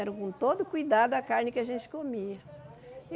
Era com todo cuidado a carne que a gente comia.